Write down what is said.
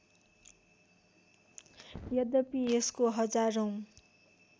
यद्यपि यसको हजारौँ